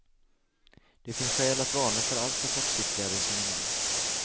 Det finns skäl att varna för alltför kortsiktiga resonemang.